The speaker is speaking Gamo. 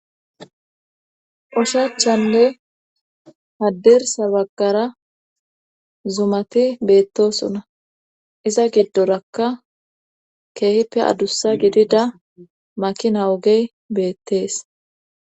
oshachanne haddirsa bagara zumati beettosona iza giddorakka keehippe adussa gidida makina ogey beettees